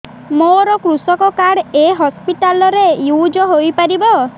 ମୋର କୃଷକ କାର୍ଡ ଏ ହସପିଟାଲ ରେ ୟୁଜ଼ ହୋଇପାରିବ